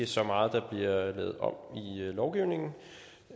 så meget der bliver lavet om i lovgivningen